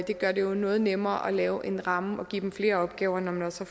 det gør det jo noget nemmere at lave en ramme og give dem flere opgaver når man også